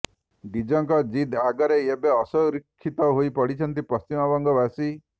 ଡିଦଙ୍କ ଜିଦ ଆଗରେ ଏବେ ଅସୁରକ୍ଷିତ ହୋଇପଡିଛନ୍ତି ପଶ୍ଚିମବଙ୍ଗ ବାସୀ